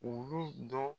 Ulu dɔ